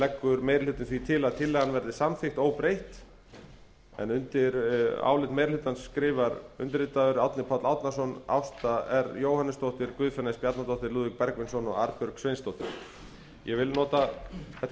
leggur meiri hlutinn því til að tillagan verði samþykkt óbreytt undir álit meiri hlutans skrifa bjarni benediktsson árni páll árnason ásta r jóhannesdóttir guðfinna s bjarnadóttir lúðvík bergvinsson og arnbjörg sveinsdóttir ég vil nota þetta